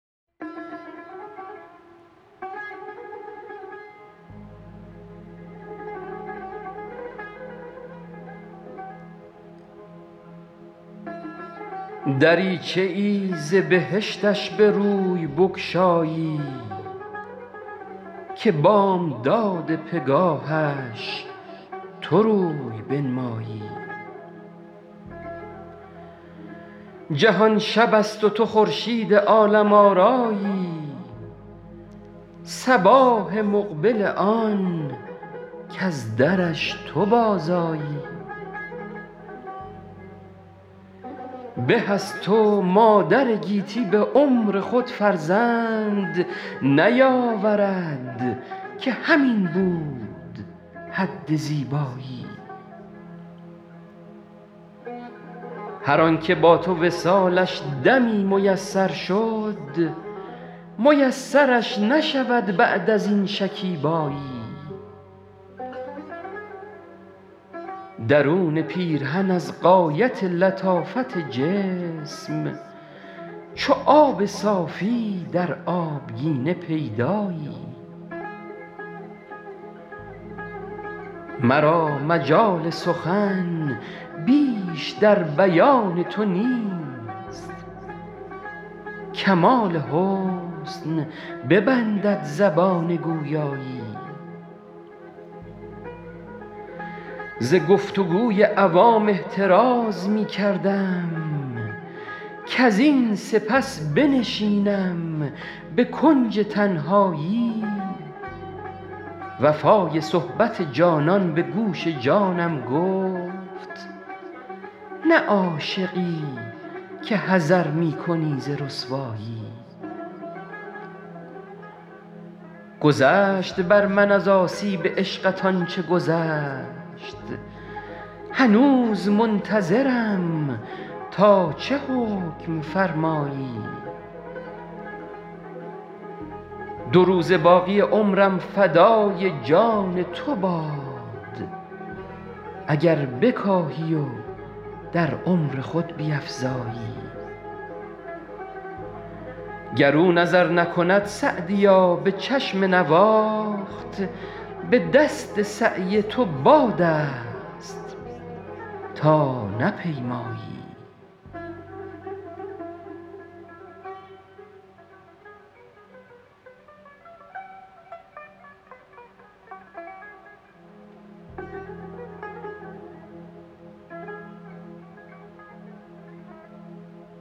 دریچه ای ز بهشتش به روی بگشایی که بامداد پگاهش تو روی بنمایی جهان شب است و تو خورشید عالم آرایی صباح مقبل آن کز درش تو بازآیی به از تو مادر گیتی به عمر خود فرزند نیاورد که همین بود حد زیبایی هر آن که با تو وصالش دمی میسر شد میسرش نشود بعد از آن شکیبایی درون پیرهن از غایت لطافت جسم چو آب صافی در آبگینه پیدایی مرا مجال سخن بیش در بیان تو نیست کمال حسن ببندد زبان گویایی ز گفت و گوی عوام احتراز می کردم کزین سپس بنشینم به کنج تنهایی وفای صحبت جانان به گوش جانم گفت نه عاشقی که حذر می کنی ز رسوایی گذشت بر من از آسیب عشقت آن چه گذشت هنوز منتظرم تا چه حکم فرمایی دو روزه باقی عمرم فدای جان تو باد اگر بکاهی و در عمر خود بیفزایی گر او نظر نکند سعدیا به چشم نواخت به دست سعی تو باد است تا نپیمایی